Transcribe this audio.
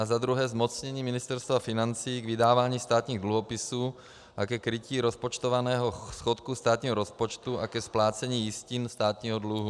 Za druhé zmocnění Ministerstva financí k vydávání státních dluhopisů a ke krytí rozpočtovaného schodku státního rozpočtu a ke splácení jistin státního dluhu.